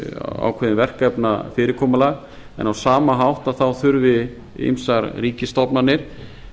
ákveðið verkefnafyrirkomulag en á sama hátt þurfi ýmsar ríkisstofnanir